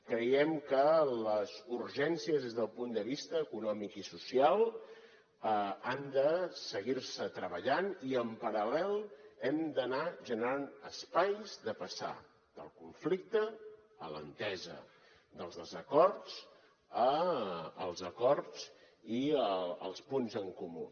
creiem que les urgències des del punt de vista econòmic i social han de seguir se treballant i en paral·lel hem d’anar generant espais de passar del conflicte a l’entesa dels desacords als acords i als punts en comú